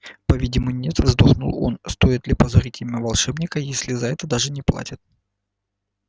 по-видимому нет вздохнул он стоит ли позорить имя волшебника если за это даже не платят